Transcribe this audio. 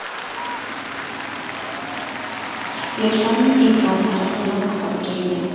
Yoshlarning e’tirozlari to‘liq asosga ega.